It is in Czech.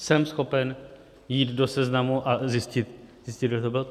Jsem schopen jít do seznamu a zjistit, kdo to byl?